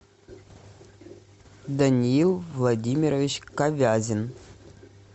даниил владимирович ковязин